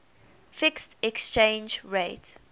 fixed exchange rate